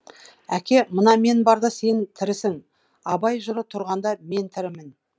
әке мына мен барда сен тірісің абай жыры тұрғанда мен тірімін